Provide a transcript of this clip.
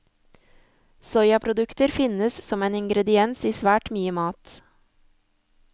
Soyaprodukter finnes som en ingrediens i svært mye mat.